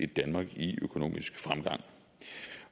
danmark i økonomisk fremgang